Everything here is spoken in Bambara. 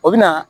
O bɛ na